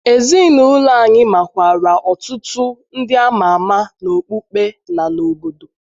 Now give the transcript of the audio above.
Ezinụlọ anyị makwaara ọtụtụ ndị a ọtụtụ ndị a ma ama n’okpukpe na n’obodo.